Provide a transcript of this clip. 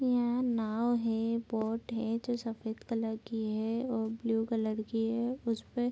यह नाव है बोट है जो सफेद कलर की है और ब्लू कलर की है। उस पे --